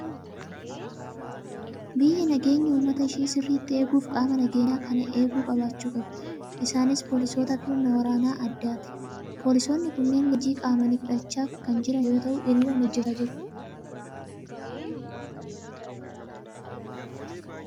Biyyi nageenya uummata ishii sirriitti eeguuf qaama nageenya kana eegu qabaachuu qabdi! Isaanis poolisoota fi humna waraana addaati. Poolisoonni kunneen leenjii qaamaanii fudhachaa kan jiran yoo ta'u, hiriiraan hojjechaa jiru.